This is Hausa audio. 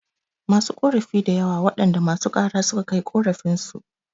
Masu korafi dayawa waɗanda masu kara suka kai korafin su